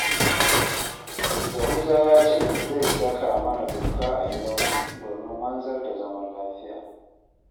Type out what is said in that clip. Yahuza ya ce zai saka mana doka a gidanmu, domin wanzar da zaman lafiya